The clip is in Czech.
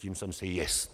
Tím jsem si jist.